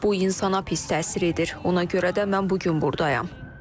Bu insana pis təsir edir, ona görə də mən bu gün buradayam.